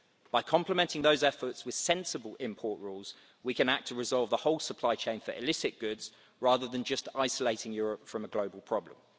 By complementing those efforts with sensible import rules, we can act to resolve the whole supply chain for illicit goods rather than just isolating Europe from a global problem.